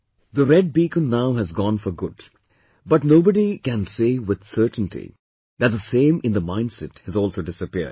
The red beacon now has gone for good but nobody can say with certainty that the same in the mindset has also disappeared